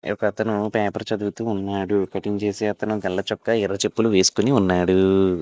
paper చదువుతూ ఉన్నాడు cutting చేసే అతను తెల్లచొక్కా ఎర్ర చె--